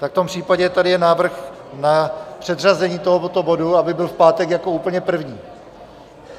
Tak v tom případě tady je návrh na předřazení tohoto bodu, aby byl v pátek jako úplně první.